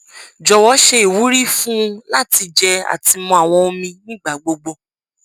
jọwọ ṣe iwuri fun u lati jẹ ati mu awọn omi nigbagbogbo